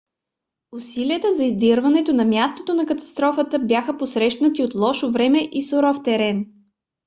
усилията за издирването на мястото на катастрофата бяха посрещнати от лошо време и суров терен